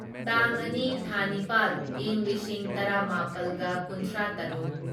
ꯇꯥꯡ ꯑꯅꯤ ꯊꯥ ꯅꯤꯄꯥꯜ ꯢꯪ ꯂꯤꯁꯤꯡ ꯇꯔꯥꯃꯥꯄꯜꯒ ꯀꯨꯟꯊ꯭ꯔꯥꯇꯔꯨꯛ